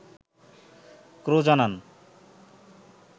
ক্রো জানান